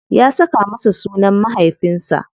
Ya saka masa sunan mahaifinsa.